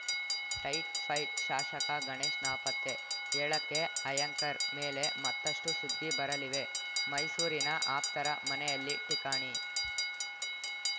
tight fight ಶಾಸಕ ಗಣೇಶ್‌ ನಾಪತ್ತೆ ಏಳಕ್ಕೆ ಆ್ಯಂಕರ್‌ ಮೇಲೆ ಮತ್ತಷ್ಟುಸುದ್ದಿ ಬರಲಿವೆ ಮೈಸೂರಿನ ಆಪ್ತರ ಮನೆಯಲ್ಲಿ ಠಿಕಾಣಿ